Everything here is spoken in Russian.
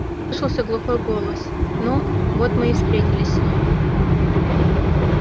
послышался глухой голос ну вот мы и встретились снова